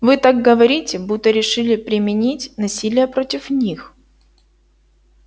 вы так говорите будто решили применить насилие против них